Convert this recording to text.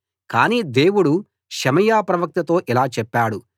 కానీ దేవుడు షెమయా ప్రవక్తతో ఇలా చెప్పాడు